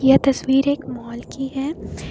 यह तस्वीर एक मॉल की है।